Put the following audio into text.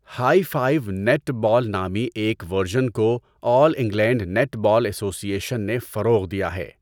High five netball نامی ایک version کو all England netball association نے فروغ دیا ہے۔